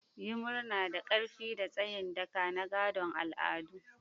Yi murna da ƙarfi da tsayin daka na gadon al'adu.